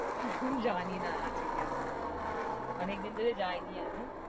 জানিনা আছে কি আছে না অনেকদিন ধরে যাইনি আমি